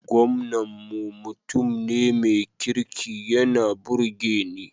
Gwamnan mu mutum ne mai kirki yana burge ni